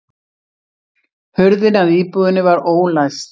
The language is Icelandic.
Hurðin að íbúðinni var ólæst